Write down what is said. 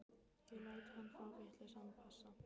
Ég lét hann fá vitlausan passa.